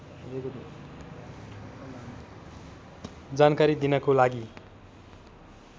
जानकारी दिनको लागि